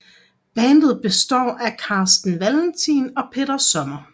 Bandet består af Carsten Valentin og Peter Sommer